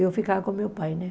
Eu ficava com meu pai, né?